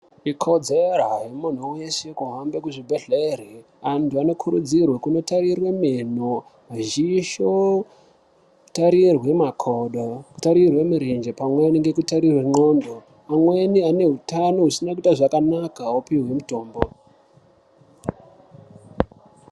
Ikodzero yemuntu weshe kuhambe kuzvibhedhlera Antu anokurudzirwa kundotarirwa meno Miziso kutarirwa marenje kutarirwa makodo pamweni nekutarirwa ngonxo amweni Ane hutano usina kuita zvakanaka aupihwi mutombo.